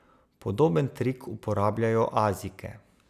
Podoben trik uporabljajo Azijke.